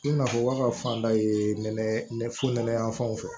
I na fɔ ba ka fanda ye nɛnɛ fu nɛnɛyanfanw fɛ